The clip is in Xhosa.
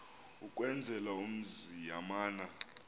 ukwenzela umzi yamana